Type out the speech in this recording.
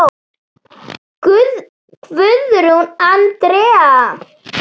Guðrún Andrea,?